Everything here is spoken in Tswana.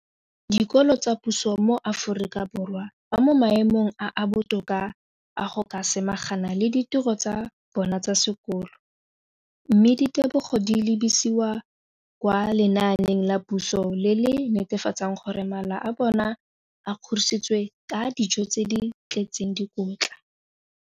Dikolo tsa puso mo Aforika Borwa ba mo maemong a a botoka a go ka samagana le ditiro tsa bona tsa sekolo, mme ditebogo di lebisiwa kwa lenaaneng la puso le le netefatsang gore mala a bona a kgorisitswe ka dijo tse di tletseng dikotla.